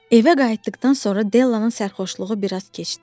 Evə qayıtdıqdan sonra Dellanın sərxoşluğu bir az keçdi.